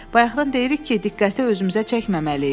Bayaqdan deyirik ki, diqqəti özümüzə çəkməməliyik.